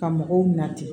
Ka mɔgɔw nati